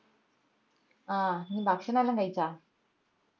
ആഹ് ഇഞ് ഭക്ഷണേല്ലോം കഴിച്ച?